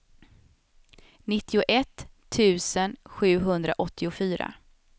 nittioett tusen sjuhundraåttiofyra